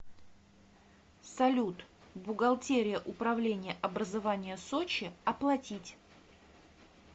салют бухгалтерия управления образования сочи оплатить